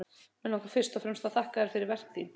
Mig langar fyrst og fremst að þakka þér fyrir verk þín.